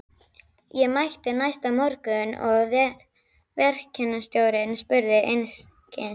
Ég mætti næsta morgun og verkstjórinn spurði einskis.